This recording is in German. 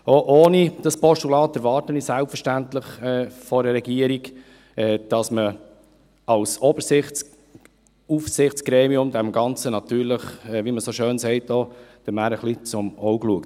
Auch ohne dieses Postulat, erwarte ich selbstverständlich von einer Regierung, dass man als Oberaufsichtsgremium, wie man so schön sagt, der Mähre auch ein wenig zum Auge schaut.